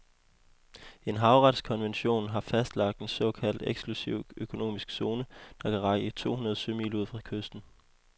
En havretskonvention har fastlagt en såkaldt eksklusiv økonomisk zone, der kan række to hundrede sømil ud fra kysten.